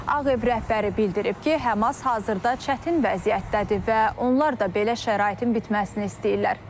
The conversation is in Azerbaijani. Ağ Ev rəhbəri bildirib ki, HƏMAS hazırda çətin vəziyyətdədir və onlar da belə şəraitin bitməsini istəyirlər.